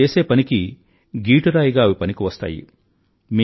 నేను చేసే పనికి గీటురాయిగా అవి పనికి వస్తాయి